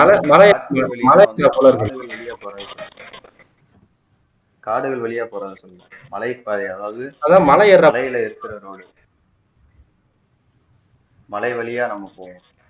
அதான் மலை மலை வழியா காடுகள் வழியா போறாங்கன்னு சொல்லல மலை பாதை அதாவது மலையில் இருக்கிற road டு மலை வழியா நம்ம போவோம்